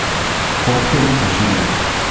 Fotke ni pošiljal.